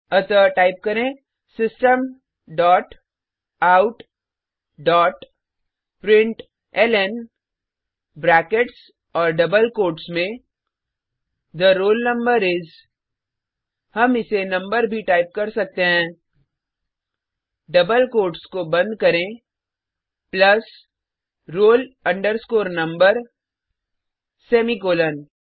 अतः टाइप करें system dot out dot println brackets और डबल कोट्स में थे रोल नंबर इस हम इसे नंबर भी टाइप कर सकते हैं डबल कोट्स को बंद करें प्लस roll number सेमीकॉलन